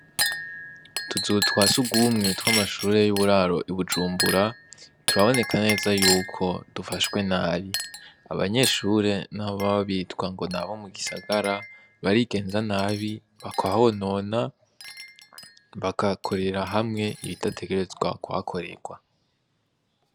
Utuzu twa sugumwe tw'amashure y'uburaro i Bujumbura, turaboneka neza yuko dufashwe nabi, abanyeshure naho baba bitwa ngo nabo mu gisagara barigenza nabi bakahonona bakahakorera hamwe ibidategerezwa kuhakorerwa.